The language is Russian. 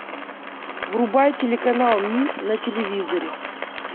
врубай телеканал мир на телевизоре